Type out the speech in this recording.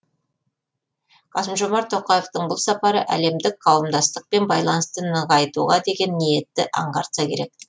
қасым жомарт тоқаевтың бұл сапары әлемдік қауымдастықпен байланысты нығайтуға деген ниетті аңғартса керек